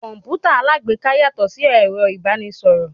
Kọ̀mpútà alágbèéká yàtọ̀ sí ẹ̀rọ ìbánisọ̀rọ̀.